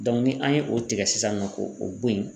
ni an ye o tigɛ sisan nɔ k'o o bo yen.